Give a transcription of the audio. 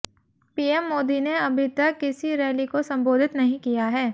PM Modi ने अभी तक किसी रैली को संबोधित नहीं किया है